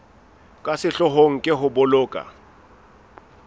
ka sehloohong ke ho boloka